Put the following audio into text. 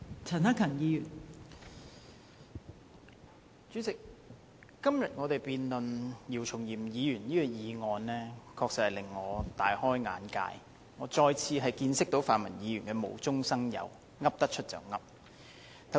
代理主席，我們今天辯論姚松炎議員所提出的議案，確實令我大開眼界，我再次見識到泛民議員的無中生有、口無遮攔。